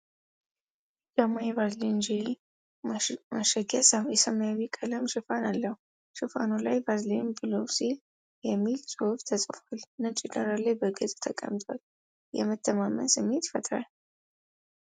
ቢጫማ የቫዝሊን ጄሊ ማሸጊያ፣ የሰማያዊ ቀለም ሽፋን አለው። ሽፋኑ ላይ "ቫዝሊን ብሉሴል" የሚል ጽሑፍ ተጽፏል። ነጭ ዳራ ላይ በግልጽ ተቀምጧል፤ የመተማመን ስሜት ይፈጥራል።